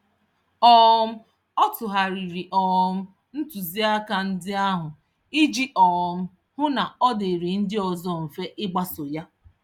um Ọ tụgharịrị um ntụziaka ndi ahụ iji um hụ na ọ dịịrị ndị ọzọ mfe ịgbaso ya.